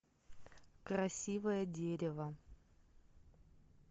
красивое дерево